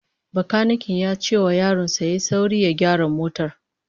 Bakaniken ya ce wa yaron sa ya yi sauri ya gyara motar